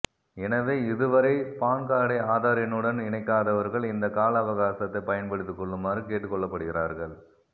எனவே இதுவரை பான்கார்டை ஆதார் எண்ணுடன் இணைக்காதவர்கள் இந்த கால அவகாசத்தை பயன்படுத்தி கொள்ளுமாறு கேட்டுக்கொள்ளப்படுகிறார்கள்